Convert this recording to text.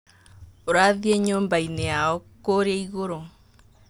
Ũrathie nyũmba-inĩ yao kũrĩa igũrũ.